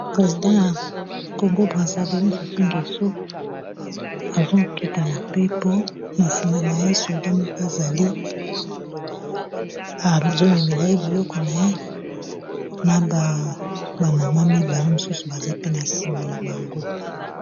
President ya Congo Brazzaville Sassou Ngeso azokita na pepo na nsima na ye soda moko azali azomemela ye biloko na ye na ba mama mibale mosusu baza pe na nsima na bango.